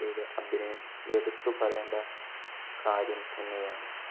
~യുടെ അഭിനയം എടുത്ത് പറയേണ്ട കാര്യം തന്നെയാണ്.